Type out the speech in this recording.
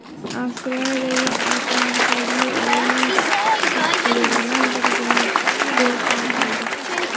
Avstriyaga qarshi markaziy o‘yin taqdirini birgina gol hal qildi.